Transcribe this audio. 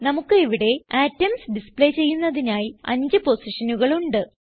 നമുക്ക് ഇവിടെ atoms display ചെയ്യുന്നതിനായി അഞ്ച് പൊസിഷനുകൾ ഉണ്ട്